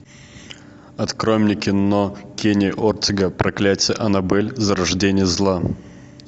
открой мне кино кенни ортега проклятие аннабель зарождение зла